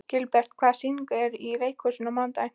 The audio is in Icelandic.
Gilbert, hvaða sýningar eru í leikhúsinu á mánudaginn?